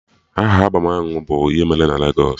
Aha albọm ahụ bụ "ihe emere na Legos"